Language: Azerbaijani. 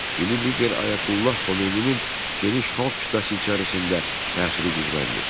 Dini lider Ayətullah Xomeyninin geniş xalq kütləsi içərisində təsiri gücləndi.